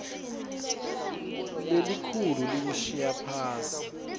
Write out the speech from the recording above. lelikhulu liwushiya phasi